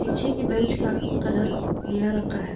पीछे के बेंच का कलर नीला रंग का है।